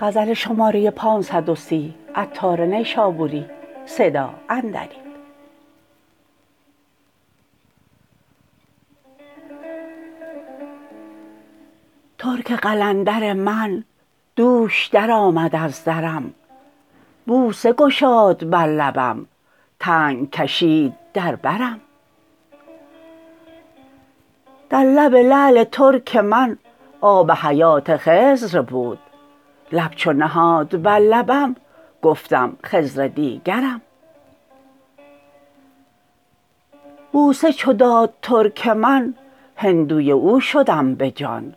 ترک قلندر من دوش درآمد از درم بوسه گشاد بر لبم تنگ کشید در برم در لب لعل ترک من آب حیات خضر بود لب چو نهاد بر لبم گفتم خضر دیگرم بوسه چو داد ترک من هندوی او شدم به جان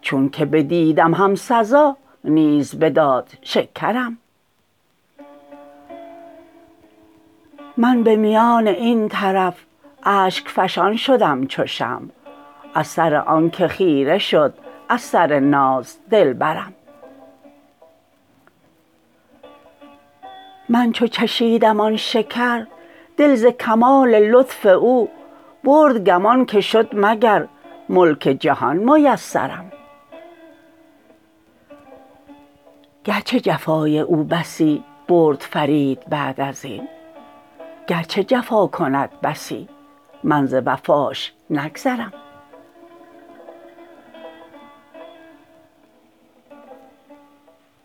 چون که بدیدم هم سزا نیز بداد شکرم من به میان این طرف اشک فشان شدم چو شمع از سر آنکه خیره شد از سر ناز دلبرم من چو چشیدم آن شکر دل ز کمال لطف او برد گمان که شد مگر ملک جهان میسرم گرچه جفای او بسی برد فرید بعد ازین گرچه جفا کند بسی من ز وفاش نگذرم